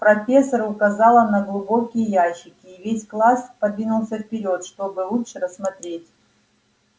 профессор указала на глубокие ящики и весь класс подвинулся вперёд чтобы лучше рассмотреть